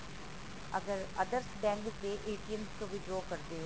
ਅਗਰ others bank ਦੇ ਤੋ ਵੀ withdraw ਕਰਦੇ ਹੋ